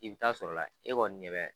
I bɛ ta'a sɔrɔla e kɔn ɲɛ bɛ